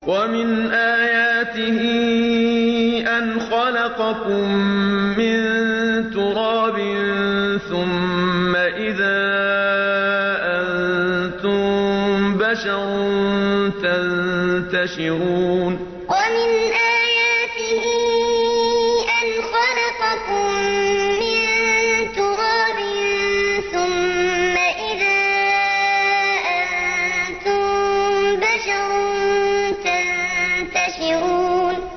وَمِنْ آيَاتِهِ أَنْ خَلَقَكُم مِّن تُرَابٍ ثُمَّ إِذَا أَنتُم بَشَرٌ تَنتَشِرُونَ وَمِنْ آيَاتِهِ أَنْ خَلَقَكُم مِّن تُرَابٍ ثُمَّ إِذَا أَنتُم بَشَرٌ تَنتَشِرُونَ